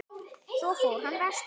Svo fór hann vestur.